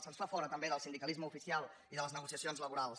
se’ns fa fora també del sindicalisme oficial i de les negociacions laborals